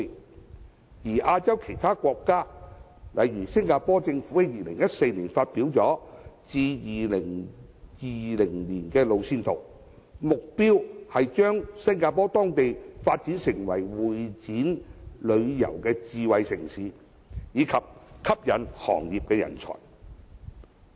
至於亞洲其他國家，例如新加坡政府在2014年發表了至2020年的路線圖，目標將當地發展成會展旅遊智慧城市，以及吸引行業人才。